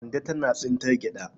Kande tana tsintar gyaɗa.